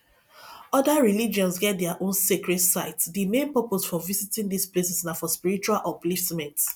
oda religions get their own sacred sites di main purpose for visiting these places na for spiritual upliftment